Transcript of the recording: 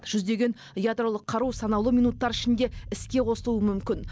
жүздеген ядролық қару санаулы минуттар ішінде іске қосылуы мүмкін